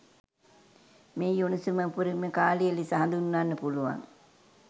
මෙහි උණුසුම උපරිම කාලය ලෙස හඳුන්වන්න පුළුවන්